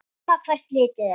Sama hvert litið er.